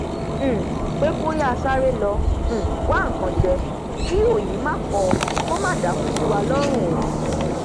um pé kó yáa sáré lọ um wá nkan jẹ kí òyì má kọọ kó má dàákú síwa lọrùn o